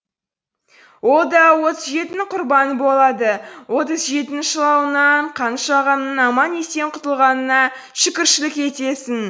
ол да отыз жетінің құрбаны болады отыз жетінің шылауынан қаныш ағаның аман есен құтылғанына шүкіршілік етесің